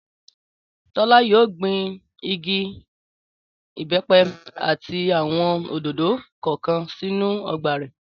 Tọ́lá yóò gbin igi ìbẹ́pẹ àti àwọn òdòdó kọ̀ọ̀kan sínú ọgbà rẹ̀